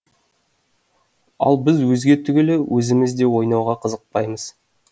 ал біз өзге түгілі өзіміз де ойнауға қызықпаймыз